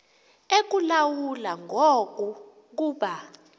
ekulawula ngoku kuba